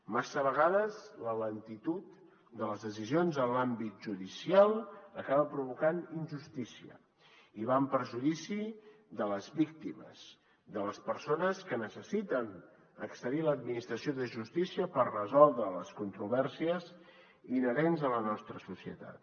massa vegades la lentitud de les decisions en l’àmbit judicial acaba provocant injustícia i va en perjudici de les víctimes de les persones que necessiten accedir a l’administració de justícia per resoldre les controvèrsies inherents a la nostra societat